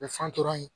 U bɛ fan tora yen